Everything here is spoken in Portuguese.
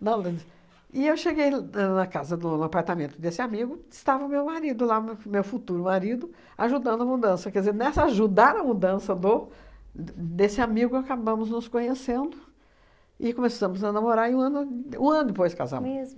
E eu cheguei do na casa do, no apartamento desse amigo, estava o meu marido lá, m meu futuro marido, ajudando a mudança, quer dizer, nessa ajudar a mudança do d desse amigo, acabamos nos conhecendo e começamos a namorar e um ano de um ano depois casamos. Mesmo?